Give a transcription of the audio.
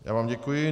Já vám děkuji.